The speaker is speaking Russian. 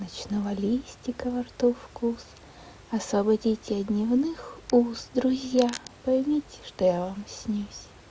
ночного листика во рту вкус освободите от дневных уз друзья поймите что я вам снюсь